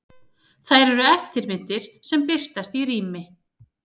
Þær eru eftirmyndir sem birtast í rými.